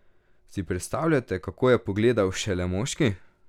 Si predstavljate, kako je pogledal šele moški?